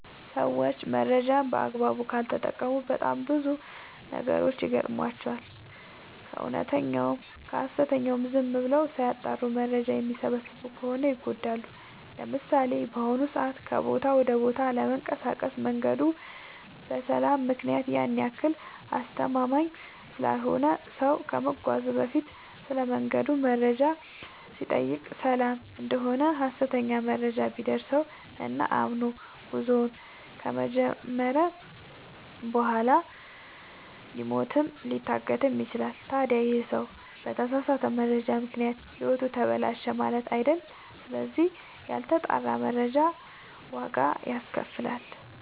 ሰዎች መረጃን በአግባቡ ካልተጠቀሙ በጣም ብዙ ችግሮች ይገጥሟቸዋል። ከእውነተኛውም ከሀሰተኛውም ዝም ብለው ሳያጠሩ መረጃ የሚሰበስቡ ከሆነ ይጎዳሉ። ለምሳሌ፦ በአሁኑ ሰዓት ከቦታ ወደ ቦታ ለመንቀሳቀስ መንገዱ በሰላም ምክንያት ያን ያክል አስተማመምኝ ስላልሆነ ሰው ከመጓዙ በፊት ስለመንገዱ መረጃ ሲጠይቅ ሰላም እደሆነ ሀሰተኛ መረጃ ቢደርሰው እና አምኖ ጉዞውን ከጀመረ በኋላ ሊሞትም ሊታገትም ይችላል። ታዲ ይህ ሰው በተሳሳተ መረጃ ምክንያት ህይወቱ ተበላሸ ማለት አይደል ስለዚህ ያልተጣራ መረጃ ዋጋ ያስከፍላል።